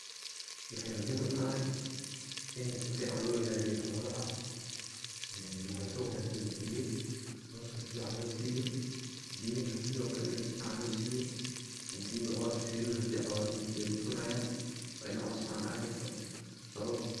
Waxay muhim utahy ini sifican loo ilaliyo xolaha cunto wanagsan lasiyo, coska sifican losiyo, biyaha sidhiokale ini sifican losiyo hadi ba cos lasinin makarayan, wa ini cos fican asiso.